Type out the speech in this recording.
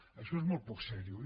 això és molt poc seriós